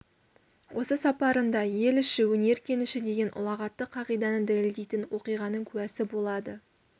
осы сапарында ел іші өнер кеніші деген ұлағатты қағиданы дәлелдейтін оқиғаның куәсы болады